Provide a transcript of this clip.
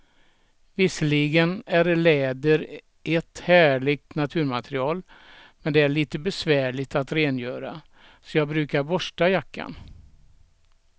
Visserligen är läder ett härligt naturmaterial, men det är lite besvärligt att rengöra, så jag brukar borsta jackan.